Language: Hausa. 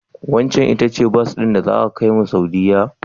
Waccen ita ce bas din da zata kaimu Saudiyya?